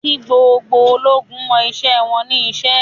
Kí gbogbo ológun mọ iṣẹ́ wọn ní iṣẹ́!